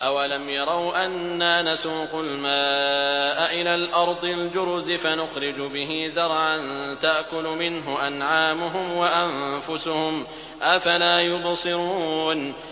أَوَلَمْ يَرَوْا أَنَّا نَسُوقُ الْمَاءَ إِلَى الْأَرْضِ الْجُرُزِ فَنُخْرِجُ بِهِ زَرْعًا تَأْكُلُ مِنْهُ أَنْعَامُهُمْ وَأَنفُسُهُمْ ۖ أَفَلَا يُبْصِرُونَ